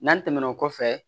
N'an tɛmɛn'o kɔfɛ